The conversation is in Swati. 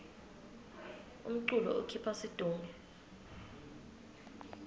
umculo ukhipha situnge